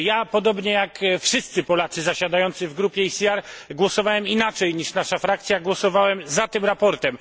Podobnie jak wszyscy Polacy zasiadający w grupie ECR głosowałem inaczej niż nasza frakcja, głosowałem za tym sprawozdaniem.